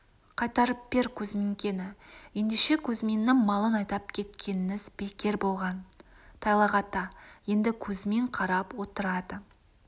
қайтарып бер кузминкені ендеше кузьминнің малын айдап кеткеніңіз бекер болған тайлақ ата енді кузьмин қарап отырады